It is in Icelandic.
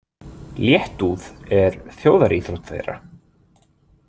Léttúð er þjóðaríþrótt þeirra.